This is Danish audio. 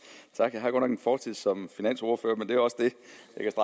jeg har godt nok en fortid som finansordfører men det er også hvad